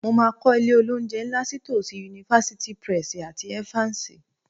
Mo máa kọ́ ilé-olóunjẹ ńlá sí tòsí University Press PLC àti Evans